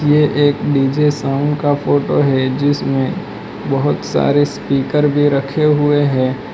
ये एक DJ sound sound का फोटो है जिसमें बहोत सारे स्पीकर भी रखे हुए हैं।